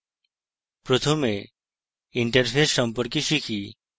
প্রথমে interface সম্পর্কে শিখি